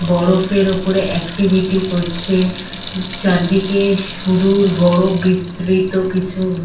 বরফের ওপরে এক্টিভিটি করছে। চারিদিকে সুদূর বরফ বিসতৃত কিছু।